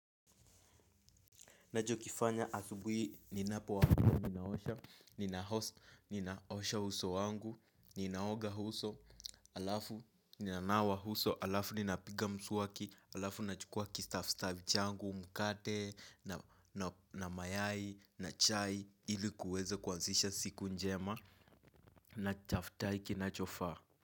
Nachokifanya asubuhi ninapoamka ninaosha, ninaosha uso wangu, ninaoga uso, alafu ninanawa uso, halafu ninapiga mswaki, halafu nachukua kistafstahi changu, mkate, na mayai, na chai, ili kuweze kuanzisha siku njema, na chaftahi kinachofaa.